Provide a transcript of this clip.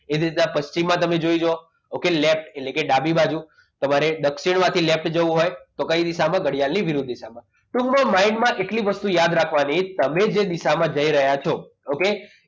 એટલી દિશા પછી માં તમે જોઈ લો okay left એટ્લે ડાબી બાજુ તમારે દક્ષિણમાંથી left જવું હોય તો કઈ દિશામાં ઘડિયાળ વિરુદ્ધ દિશામાં ટૂંકમાં mind માં એટલી વસ્તુ યાદ રાખવાની તમે જે દિશામાં જઈ રહ્યા છો okay